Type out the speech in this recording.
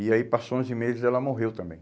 E aí, passou onze meses e ela morreu também.